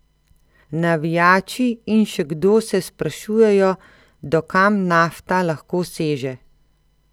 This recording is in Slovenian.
Navijači in še kdo se sprašujejo, do kam Nafta lahko seže?